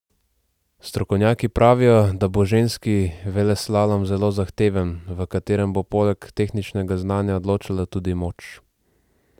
Strokovnjaki pravijo, da bo ženski veleslalom zelo zahteven, v katerem bo poleg tehničnega znanja odločala tudi moč.